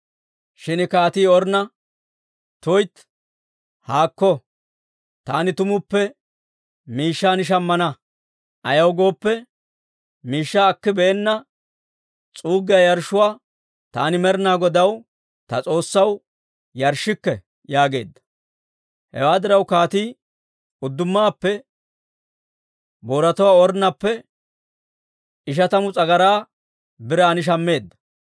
Shin kaatii Ornna, «tuytti, haakko! Taani tumuppe miishshan shammana; ayaw gooppe, miishshaa akibeenna s'uuggiyaa yarshshuwaa taani Med'inaa Godaw, ta S'oossaw, yarshshikke» yaageedda. Hewaa diraw, kaatii uddumaappe booratuwaa Ornnappe ishatamu s'agaraa biran shammeedda.